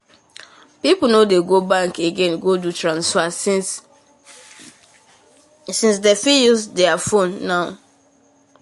um those bank people not people not quick transfer money so them miss the chance um to invest the um money